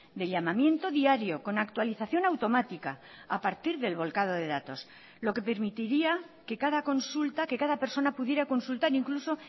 de llamamiento diario con actualización automática a partir del volcado de datos lo que permitiría que cada consulta que cada persona pudiera consultar incluso